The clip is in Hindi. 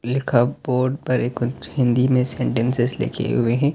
लिखा बोर्ड पर एक हिन्दी में सैनटैन्सेस लिखे हुए हैं।